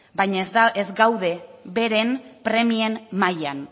baina ez gaude beren premien mailan